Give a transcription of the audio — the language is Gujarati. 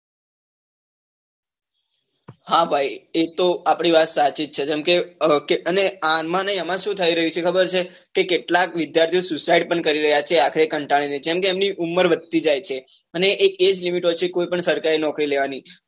હા ભાઈ એ આપડી વાત સાચી છે જેમ કે અને આમાં ને આમાં શું થઇ રહ્યું છે ખબર છે કે કેટલાક વિદ્યાર્થીઓ suicide કરી રહ્યા છે આખરે કંટાળી ને જેમ કે એમની ઉમર વધતી જાય છે અને એ જ limit હોય છે કોઇ પણ સરકારી નોકરી લેવા ની